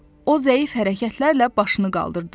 O zəif hərəkətlərlə başını qaldırdı.